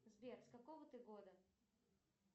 сбер с какого ты года